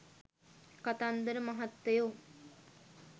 කතන්දර මහත්තයෝ